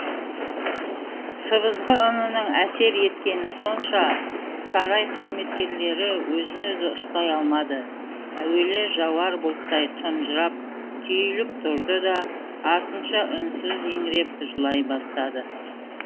сыбызғы үнінің әсер еткені сонша сарай қызметкерлері өзін өзі ұстай алмады әуелі жауар бұлттай тұнжырап түйіліп тұрды да артынша үнсіз еңіреп жылай бастады